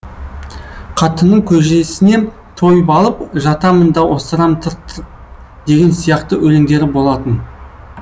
қатынның көжесіне тойып алып жатамын да осырам тырқ тырқ деген сияқты өлеңдері болатын